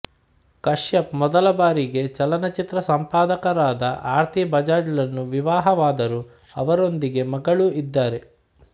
ಕಶ್ಯಪ್ ಮೊದಲ ಬಾರಿಗೆ ಚಲನಚಿತ್ರ ಸಂಪಾದಕರಾದ ಆರ್ತಿ ಬಜಾಜ್ಳನ್ನು ವಿವಾಹವಾದರು ಅವರೊಂದಿಗೆ ಮಗಳು ಇದ್ದಾರೆ